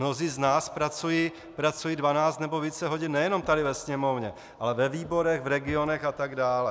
Mnozí z nás pracují dvanáct nebo více hodin nejenom tady ve Sněmovně, ale ve výborech, v regionech a tak dále.